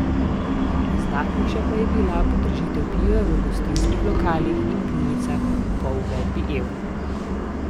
Izdatnejša pa je bila podražitev piva v gostinskih lokalih in pivnicah po uvedbi evra.